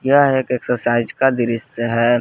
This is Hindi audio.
यह एक एक्सरसाइज का दृश्य है।